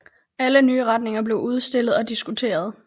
Alle nye retninger blev udstillet og diskuteret